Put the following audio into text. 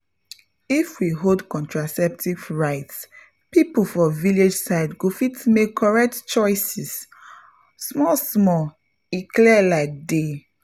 if we uphold contraceptive rights people for village side go fit make correct choices — pause small small e clear like day.